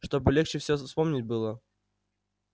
чтобы легче всё вспомнить было